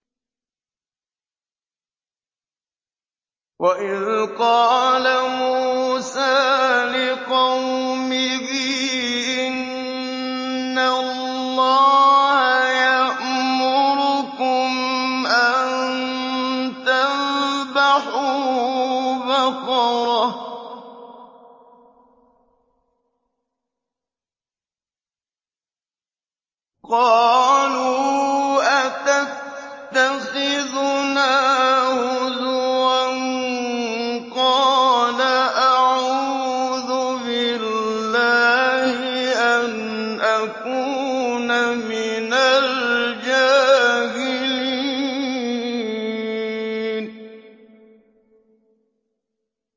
وَإِذْ قَالَ مُوسَىٰ لِقَوْمِهِ إِنَّ اللَّهَ يَأْمُرُكُمْ أَن تَذْبَحُوا بَقَرَةً ۖ قَالُوا أَتَتَّخِذُنَا هُزُوًا ۖ قَالَ أَعُوذُ بِاللَّهِ أَنْ أَكُونَ مِنَ الْجَاهِلِينَ